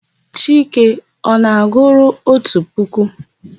Chike ọ na-agụru otu puku?